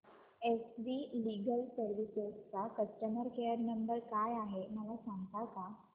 S V legal services चा customer care number काय आहे मला सांगता का